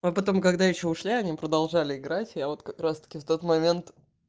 а потом когда ещё ушли они продолжали играть я вот как раз-таки в тот момент